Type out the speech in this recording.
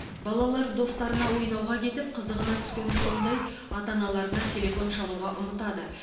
балалар достарына ойнауға кетіп қызығына түскені сондай ата аналарына телефон шалуға ұмытады